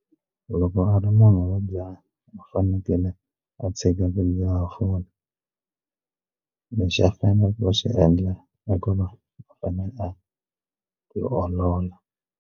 Loko a ri munhu wo dzaha u fanekele a tshika ku dzaha fole lexi a fane ku xi endla i ku va a fanele a ti olola.